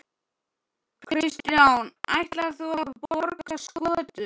Kristján: Ætlar þú að borða skötu?